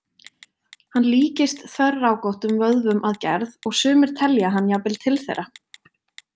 Hann líkist þverrákóttum vöðvum að gerð, og sumir telja hann jafnvel til þeirra.